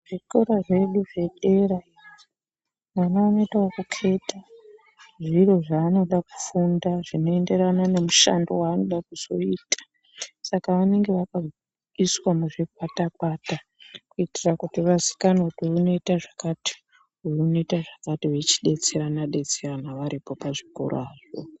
Zvikora zvedu zvedera ana anoita yekuketa zviro zvaanoda kufunda zvinoenderana nemushando waanoda kuzoita saka vanenge vakaiswa muzvikwata kwata kuitira kuti vaziikane kuti uyu unoita zvakati uyu unoita zvakati veichidetserana detserana varipo pachikora apo.